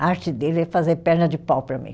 A arte dele é fazer perna de pau para mim.